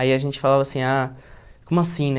Aí a gente falava assim, ah, como assim, né?